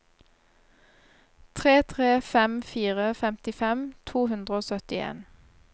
tre tre fem fire femtifem to hundre og syttien